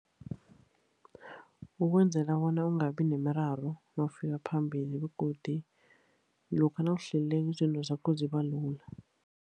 Ukwenzela bona ungabi nemiraro nawufika phambili, begodu lokha nawuhlelileko, izinto zakho ziba lula.